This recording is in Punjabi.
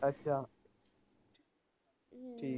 ਅੱਛਾ ਠੀਕ